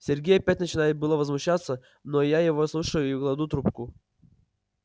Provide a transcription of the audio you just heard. сергей опять начинает было возмущаться но я его слушаю и кладу трубку